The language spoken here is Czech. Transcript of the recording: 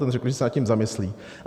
Ten řekl, že se nad tím zamyslí.